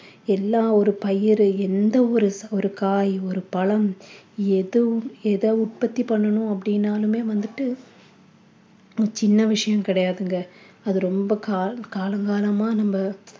எல்லா ஒரு பயிர் எந்த ஒரு ஒரு காய் ஒரு பழம் எதுவும் எத உற்பத்தி பண்ணனும் அப்படின்னாலுமே வந்துட்டு ஹம் சின்ன விஷயம் கிடையாதுங்க அது ரொம்ப கால~ காலம் காலங் காலமா நம்ம